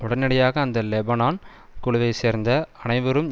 உடனடியாக அந்த லெபனான் குழுவை சேர்ந்த அனைவரும்